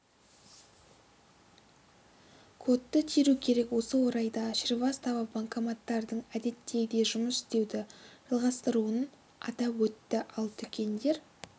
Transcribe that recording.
кодты теру керек осы орайда шривастава банкоматтардың әдеттегідей жұмыс істеуді жалғастыратынын атап өтті ал дүкендер